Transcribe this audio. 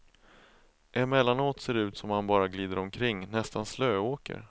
Emellanåt ser det ut som om han bara glider omkring, nästan slöåker.